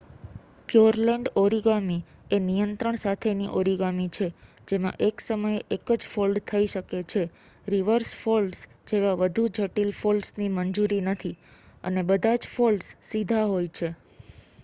Pureland origami એ નિયંત્રણ સાથેની ઓરિગામિ છે જેમાં એક સમયે એક જ ફોલ્ડ થઈ શકે છે રિવર્સ ફોલ્ડ્સ જેવા વધુ જટિલ ફોલડસની મંજૂરી નથી, અને બધા જ ફોલ્ડમ સીધા હોય છે